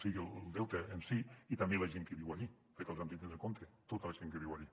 siga el delta en si i també la gent que viu allí perquè els hem de tindre en compte tota la gent que viu allí